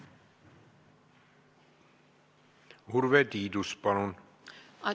Urve Tiidus, palun!